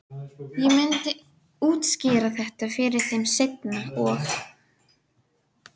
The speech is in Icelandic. Loftvarnabyssurnar í skotstöðu dag og nótt.